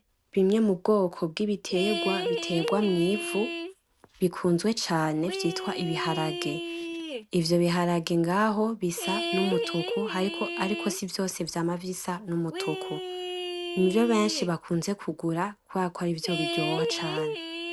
Bimwe mubwoko bw'ibiterwa biterwa mw'ivu bikuze cane vyitwa ibiharage, ivyo biharage ngaho bisa numutuku ariko sivyose vyama bisa n'umutuku nivyo benshi bakuze kugura kubera ko arivyo biryoha cane.